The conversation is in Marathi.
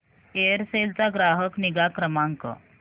एअरसेल चा ग्राहक निगा क्रमांक